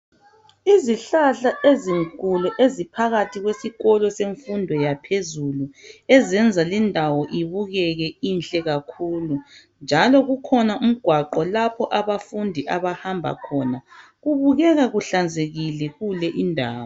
Izihlahla ezinkulu eziphakathi kwesikolo semfundo yaphezulu ezenza lindawo ibukeke inhle kakhulu njalo kukhona umgwaqo lapho abafundi abahamba khona. Kubukeka kuhlanzekile kule indawo